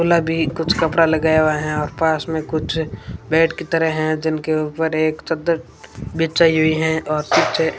खुला भी कुछ कपड़ा लगाया हुआ है और पास में कुछ बेड की तरह हैं जिनके ऊपर एक चद्दर बिछाई हुई है और पीछे--